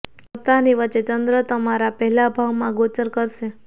સપ્તાહ ની વચ્ચે ચંદ્ર તમારા પહેલા ભાવ માં ગોચર કરશે